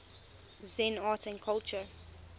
zen art and culture